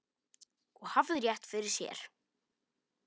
Og hafði rétt fyrir sér.